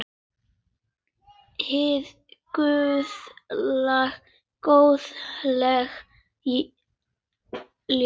Hið guðlega góðlega ljós.